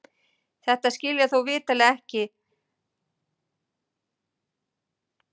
Þetta ber þó vitanlega ekki að skilja bókstaflega enda hugsum við öll með heilanum.